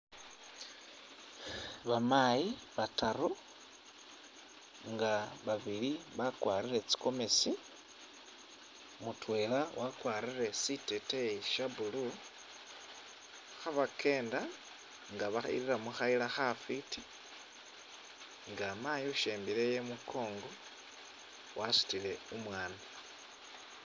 Bamaayi bataaru nga babili bakwarire tsi gomeesi, mutwela wakwarire siteteyi sha blue khabakenda nga babirira mukhayila khafwiti nga maayi ushembeleyo imukongo wasutile umwana.